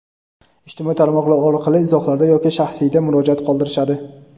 ijtimoiy tarmoqlar orqali izohlarda yoki shaxsiyda murojaat qoldirishadi.